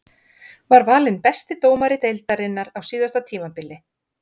Var valinn besti dómari deildarinnar á síðasta tímabili.